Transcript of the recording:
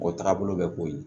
O tagabolo bɛ ko ye